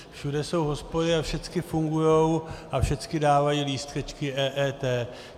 Všude jsou hospody a všecky fungují a všecky dávají lístečky EET.